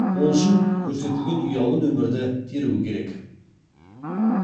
ол үшін көрсетілген ұялы нөмірді теруі керек